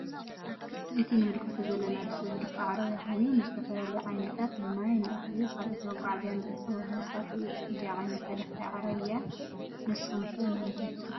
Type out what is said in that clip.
እዚ ንምልከቶ ዘለና ብስብ ዝድፋእ ዓረብያ ኮየኑ ንዝተፈላለዩ ዓይነታት ንማይ ፤ንእክሊ፤ ካልኦት መጋዓዝያ እንጥቀመሉ መሳሪሒ እዩ። እዚ ዓይነት ተደፋኢ ዓረብያ ንሱኩም ከ ንምንታይ ትጥቀሙሉ?